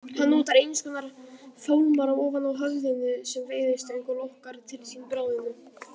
Hann notar einskonar fálmara ofan á höfðinu sem veiðistöng og lokkar til sín bráðina.